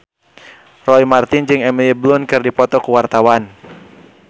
Roy Marten jeung Emily Blunt keur dipoto ku wartawan